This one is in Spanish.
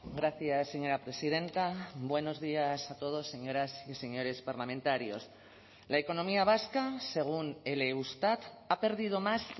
gracias señora presidenta buenos días a todos señoras y señores parlamentarios la economía vasca según el eustat ha perdido más